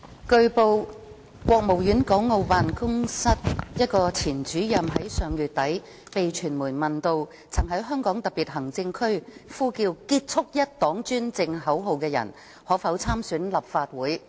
據報，國務院港澳事務辦公室一位前主任於上月底被傳媒問到，曾在香港特別行政區呼叫"結束一黨專政"口號的人士可否參選立法會。